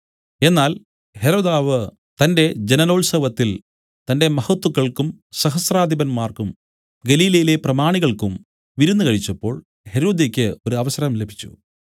എന്നാൽ ഹെരോദാവ് തന്റെ ജനനോത്സവത്തിൽ തന്റെ മഹത്തുക്കൾക്കും സഹസ്രാധിപന്മാർക്കും ഗലീലയിലെ പ്രമാണികൾക്കും വിരുന്നു കഴിച്ചപ്പോൾ ഹെരോദ്യയ്ക്ക് ഒരു അവസരം ലഭിച്ചു